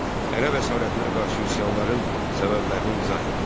Ərəb əsarətinə qarşı üsyanların səbəblərini izah et.